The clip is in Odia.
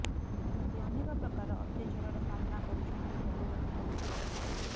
ଏମିତି ଅନେକ ପ୍ରକାର ଅତ୍ୟାଚାରର ସାମନା କରୁଛନ୍ତି ଭଗବତୀ ବସ୍ତି ବାସିନ୍ଦା